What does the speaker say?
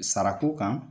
Sarako kan